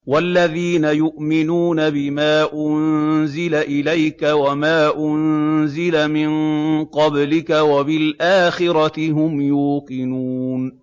وَالَّذِينَ يُؤْمِنُونَ بِمَا أُنزِلَ إِلَيْكَ وَمَا أُنزِلَ مِن قَبْلِكَ وَبِالْآخِرَةِ هُمْ يُوقِنُونَ